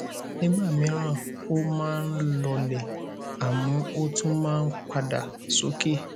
nígbà míràn oh máa nh lọọlẹ àmọ ó tún máa ń padà sókè